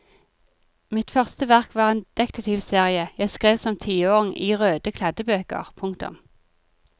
Mitt første verk var en detektivserie jeg skrev som tiåring i røde kladdebøker. punktum